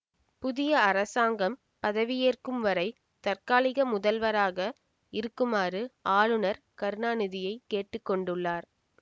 புதிய அரசாங்கம் பதவியேற்கும் வரை தற்காலிக முதல்வராக இருக்குமாறு ஆளுநர் கருணாநிதியைக் கேட்டு கொண்டுள்ளார்